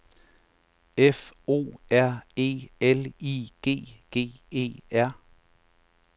F O R E L I G G E R